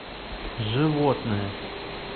животное